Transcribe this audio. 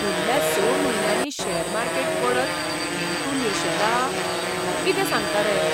फुडल्या स म्हयन्यांनी शॅर मार्केट पडत म्हूण तूं निर्शेला? कितें सांगता रे?